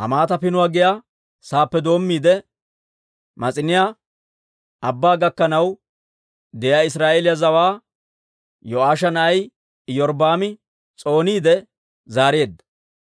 Hamaata Pinuwaa giyaa saappe doommiide, Mas'iniyaa Abbaa gakkanaw de'iyaa Israa'eeliyaa zawaa Yo'aasha na'ay Iyorbbaami s'ooniide zaareedda.